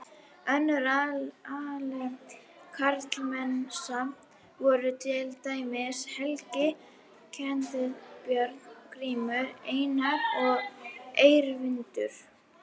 Önnur algeng karlmannsnöfn voru til dæmis Helgi, Ketill, Björn, Grímur, Einar og Eyvindur.